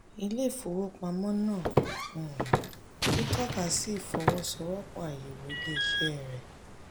ilé ìfowópamọ́ náà um tún tọ́ka sí ìfọwọ́sowọ́pọ̀ àyẹ̀wò ilé-iṣẹ́ rẹ̀.